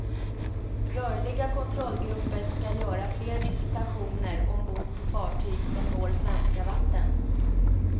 Rörliga kontrollgrupper ska göra fler visitationer ombord på fartyg som når svenska vatten.